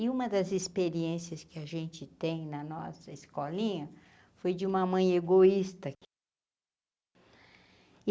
E uma das experiências que a gente tem na nossa escolinha foi de uma mãe egoísta.